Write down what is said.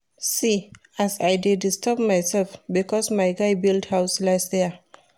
See as I dey disturb mysef because my guy build house last year.